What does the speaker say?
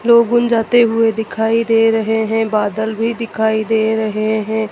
जाते हुए दिखाई दे रहे हैं बादल भी दिखाई दे रहे हैं।